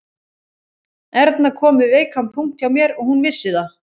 Erna kom við veikan punkt hjá mér og hún vissi það